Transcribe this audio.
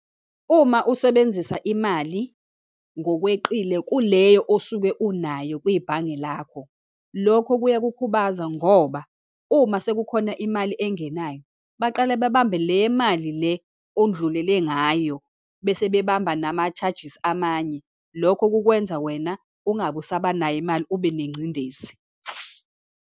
Uma usebenzisa imali ngokweqile kuleyo osuke unayo kwibhange lakho, lokho kuya kukhubazeka ngoba uma sekukhona imali engenayo, baqale bebambe le mali le oludlulele ngayo, bese bebamba nama-charges amanye. Lokho kukwenza wena ungabe usabanayo imali, ube nengcindezi.